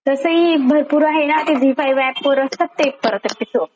तसही भरपूर आहे ना, ते झी फाईव्ह ऍप वर असतात परत ते एपिसोड.